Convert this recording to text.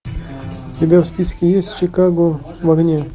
у тебя в списке есть чикаго в огне